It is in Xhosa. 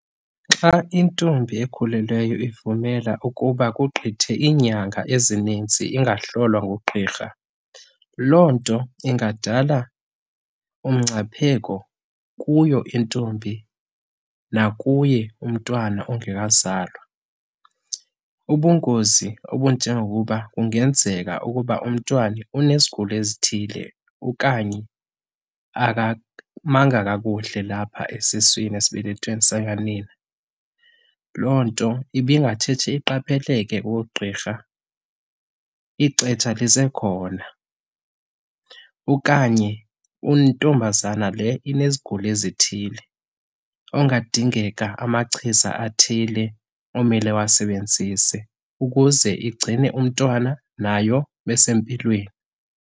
Xa intombi ekhulelweyo ivumela ukuba kugqithe iinyanga ezininzi ingahlolwa ngugqirha, loo nto ingadala umngcipheko kuyo intombi nakuye umntwana ongekazalwa. Ubungozi obunjengokuba kungenzeka ukuba umntwana unezigulo ezithile okanye akamanga kakuhle lapha esiswini, esibelethweni sikanina. Loo nto ibingatshetshe iqapheleke koogqirha ixetsha lisekhona okanye untombazana le inezigulo ezithile, okungadingeka amachiza athile omele awasebenzise ukuze igcine umntwana nayo besempilweni.